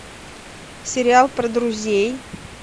сериал про друзей